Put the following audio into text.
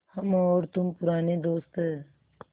हम और तुम पुराने दोस्त हैं